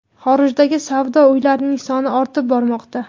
Xorijdagi savdo uylarining soni ortib bormoqda.